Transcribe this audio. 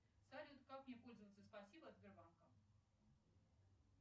салют как мне пользоваться спасибо от сбербанка